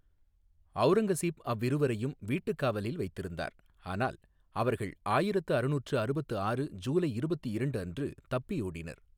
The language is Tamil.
அவுரங்கசீப் அவ்விருவரையும் வீட்டுக் காவலில் வைத்திருந்தார், ஆனால் அவர்கள் ஆயிரத்து அறுநூற்று அறுபத்து ஆறு ஜூலை இருபத்து இரண்டு அன்று தப்பியோடினர்.